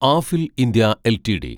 Affle India LTD